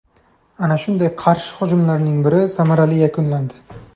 Ana shunday qarshi hujumlarning biri samarali yakunlandi.